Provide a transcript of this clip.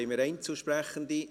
Haben wir Einzelsprechende?